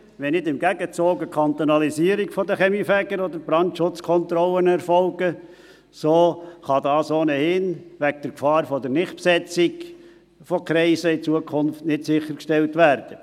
Wenn nicht im Gegenzug eine Kantonalisierung der Kaminfeger oder der Brandschutzkontrollen erfolgt, kann dies wegen der Gefahr der künftigen Nicht-Besetzung von Kreisen ohnehin nicht sichergestellt werden.